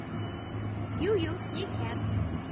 Jú, jú, ég kem.